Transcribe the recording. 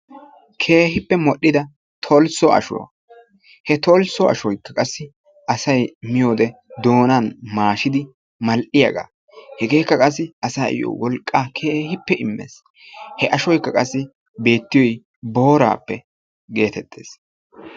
keehippe mol"idda tooliso ashshuwaa. he toliso ashshoykka asay keehippe doonan maashidi mal"iyaagaa. hegeekka qaasi asayyoo wolqqaa keehippe immees. he ashshoykka qassi beettiyoy booraappe geettetees.